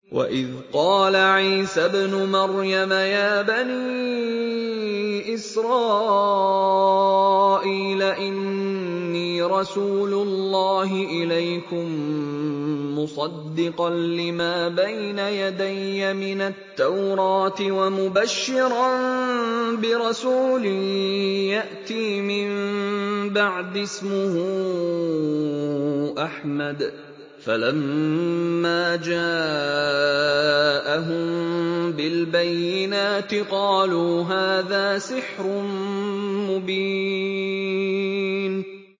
وَإِذْ قَالَ عِيسَى ابْنُ مَرْيَمَ يَا بَنِي إِسْرَائِيلَ إِنِّي رَسُولُ اللَّهِ إِلَيْكُم مُّصَدِّقًا لِّمَا بَيْنَ يَدَيَّ مِنَ التَّوْرَاةِ وَمُبَشِّرًا بِرَسُولٍ يَأْتِي مِن بَعْدِي اسْمُهُ أَحْمَدُ ۖ فَلَمَّا جَاءَهُم بِالْبَيِّنَاتِ قَالُوا هَٰذَا سِحْرٌ مُّبِينٌ